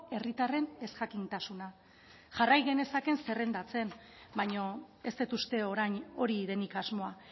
herritarren ezjakintasuna jarrai genezakeen zerrendatzen baina ez dut uste orain hori denik asmoa